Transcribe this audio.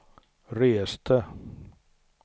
reste